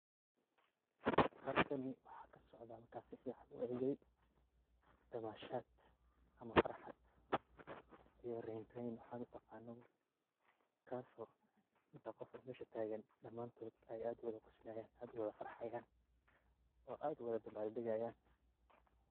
Halkan waxaa kasocdaah markan sifican uegey damashad ama farxad iyo reytreyn sidhaa utaqanabo kas oo inta qof mesha wadatagan damantod ay ad uwada qoslayan ad uwada farxayan oo ad uwada dabaldagayan.